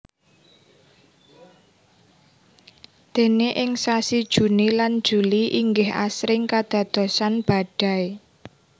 Déné ing sasi Juni lan Juli inggih asring kadadosan badai